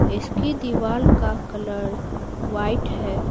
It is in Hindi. इसकी दीवार का कलर व्हाइट है।